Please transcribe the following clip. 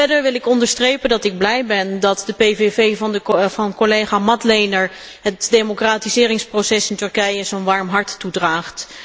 Verder wil ik onderstrepen dat ik blij ben dat de PVV van collega Madlener het democratiseringsproces in Turkije zo'n warm hart toedraagt.